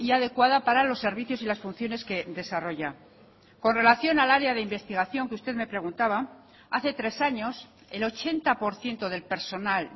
adecuada para los servicios y las funciones que desarrolla con relación al área de investigación que usted me preguntaba hace tres años el ochenta por ciento del personal